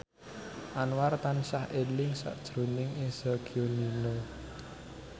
Anwar tansah eling sakjroning Eza Gionino